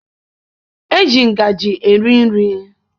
Eji ngaji eri nri.